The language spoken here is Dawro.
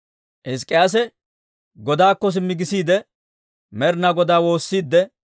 Hizk'k'iyaase godaakko simmi gisiide, Med'ina Godaa woossiidde,